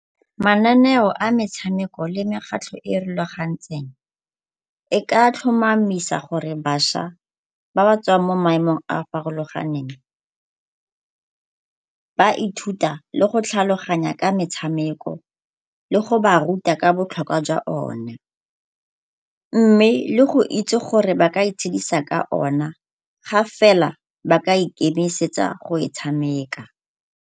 Mananeo a metshameko le mekgatlho e e rulagantsweng e ka tlhomamisa gore bašwa ba ba tswang mo maemong a a farologaneng ba ithuta le go tlhaloganya ka metshameko le go ba ruta ka botlhokwa jwa ona mme le go itse gore ba ka itshidisa ka ona ga fela ba ka ikemisetsa go e tshameka.